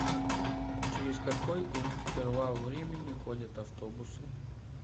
через какой интервал времени ходят автобусы